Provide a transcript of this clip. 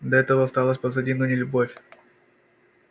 да это осталось позади но не любовь